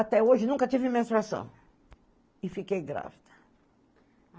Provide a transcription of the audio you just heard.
Até hoje nunca tive menstruação e fiquei grávida.